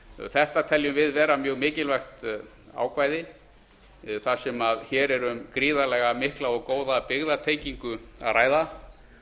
þetta teljum við vera mjög mikilvægt ákvæði þar sem hér er um gríðarlega mikla og góða byggðatengingu að ræða